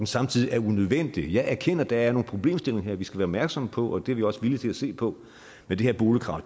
samtidig unødvendig jeg erkender at der her er nogle problemstillinger vi skal være opmærksomme på og det er vi også villige til at se på men det her boligkrav